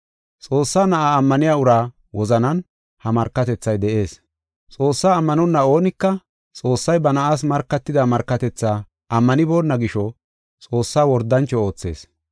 Xoossaa Na7aa ammaniya uraa wozanan ha markatethay de7ees. Xoossaa ammanonna oonika Xoossay ba Na7aas markatida markatethaa ammanibona gisho, Xoossaa wordancho oothees.